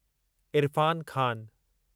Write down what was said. Irfan Khan